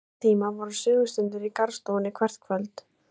Þann tíma voru sögustundir í garðstofunni hvert kvöld.